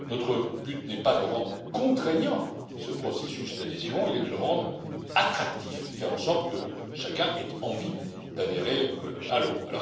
Notre but n'est pas de rendre contraignant ce processus d'adhésion, il est de le rendre attractif, de faire en sorte que chacun ait envie d'adhérer à l'euro.